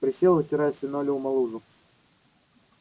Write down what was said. присел вытирая с линолеума лужу